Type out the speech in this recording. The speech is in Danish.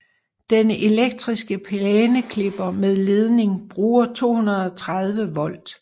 Den elektriske plæneklipper med ledning bruger 230 volt